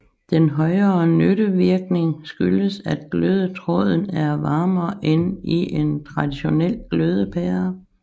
Den højere nyttevirkning skyldes at glødetråden er varmere end i en traditionel glødepære